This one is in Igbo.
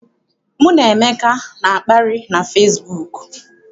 Mụ na Emeka na-akparị na fesibuuku.